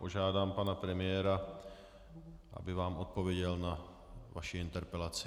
Požádám pana premiéra, aby vám odpověděl na vaši interpelaci.